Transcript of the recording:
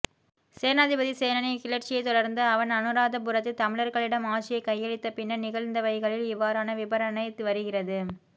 சேனாதிபதி சேனனின் கிளர்ச்சியைத் தொடர்ந்து அவன் அநுராதபுரத்தில் தமிழர்களிடம் ஆட்சியைக் கையளித்த பின்னர் நிகழ்ந்தவைகளில் இவ்வாறான விபரணை வருகிறது